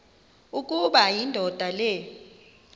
ukuba indoda le